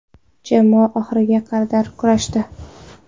Jamoa oxiriga qadar kurashdi.